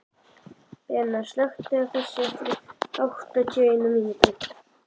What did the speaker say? Benna, slökktu á þessu eftir áttatíu og eina mínútur.